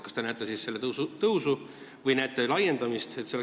Kas te näete siis selle tõusu või näete laiendamist?